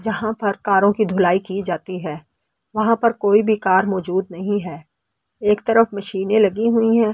जहां पर कारों की धुलाई की जाती है वहां पर कोई भी कार मौजूद नहीं है एक तरफ मशीनें लगी हुई हैं।